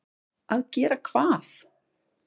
Að gera hvað?